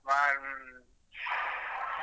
ಮಾಡು ಹ್ಮ್.